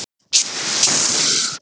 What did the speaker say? Lalli, hvernig er veðrið á morgun?